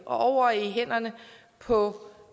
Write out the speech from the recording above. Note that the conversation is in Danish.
og over i hænderne på